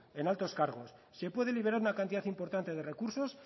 en altos cargos se pueden liberar una cantidad importante de recursos